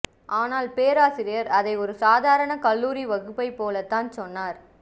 ஆனால் பேராசிரியர் அதை ஒரு சாதாரண கல்லூரி வகுப்பைப் போலத்தான் சொன்னார்